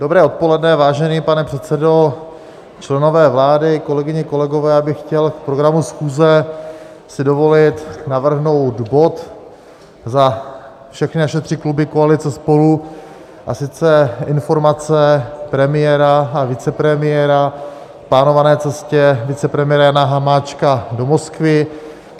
Dobré odpoledne, vážený pane předsedo, členové vlády, kolegyně, kolegové, já bych chtěl k programu schůze si dovolit navrhnout bod za všechny naše tři kluby koalice SPOLU, a sice Informace premiéra a vicepremiéra k plánované cestě vicepremiéra Jana Hamáčka do Moskvy.